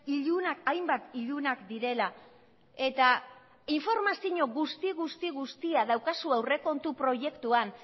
ilunak hainbat ilunak direla eta informazio guzti guzti guztia daukazu aurrekontu proiektuan